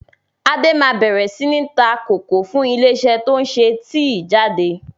Adé máa bẹ̀rẹ̀ sini ta kòkó fún ilé isẹ́ to ń ṣe tíì jáde.